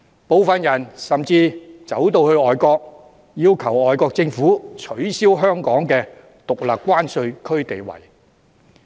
部分人甚至跑到外國，要求外國政府取消香港的獨立關稅區地位。